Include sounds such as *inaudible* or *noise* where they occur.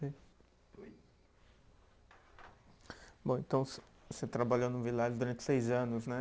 *unintelligible* Bom, então *unintelligible* você trabalhou no Villares durante seis anos, né?